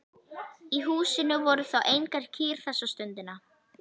Í húsinu voru þó engar kýr þessa stundina.